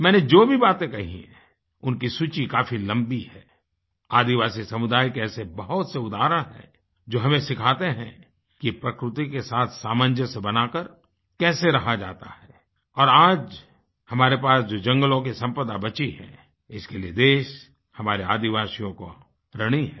मैंने जो भी बातें कहीं हैं उनकी सूची काफ़ी लम्बी है आदिवासी समुदाय के ऐसे बहुत से उदाहरण हैं जो हमें सिखाते हैं कि प्रकृति के साथ सामंजस्य बनाकर कैसे रहा जाता है और आज हमारे पास जो जंगलों की सम्पदा बची है इसके लिए देश हमारे आदिवासियों का ऋणी है